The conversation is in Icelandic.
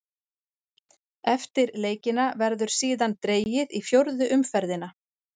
Eftir leikina verður síðan dregið í fjórðu umferðina.